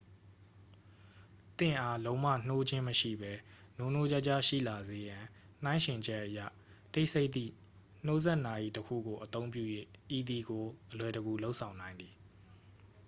သင့်အား လုံးဝနှိုးခြင်းမရှိဘဲ နိုးနိုးကြားကြားရှိလာစေရန် နှိုင်းယှဉ်ချက်အရ တိတ်ဆိတ်သည့် နှိုးစက်နာရီတစ်ခုကို အသုံးပြု၍ ဤသည်ကို အလွယ်တကူ လုပ်ဆောင်နိုင်သည်